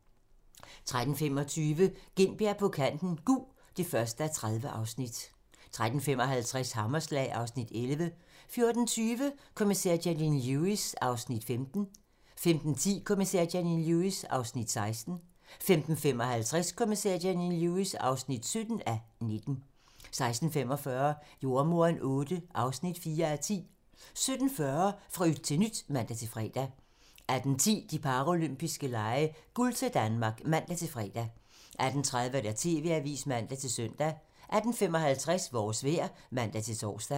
13:25: Gintberg på kanten - Gug (1:30) 13:55: Hammerslag (Afs. 11) 14:20: Kommissær Janine Lewis (15:19) 15:10: Kommissær Janine Lewis (16:19) 15:55: Kommissær Janine Lewis (17:19) 16:45: Jordemoderen VIII (4:10) 17:40: Fra yt til nyt (man-fre) 18:10: De paralympiske lege: Guld til Danmark (man-fre) 18:30: TV-avisen (man-søn) 18:55: Vores vejr (man-tor)